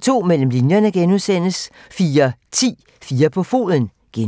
02:00: Mellem linjerne (G) 04:10: 4 på foden (G)